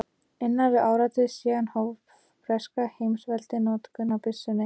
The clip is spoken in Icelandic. Innan við áratug síðar hóf breska heimsveldið notkun á byssunni.